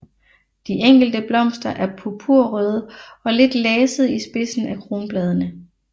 De enkelte blomster er purpurrøde og lidt lasede i spidsen af kronbladene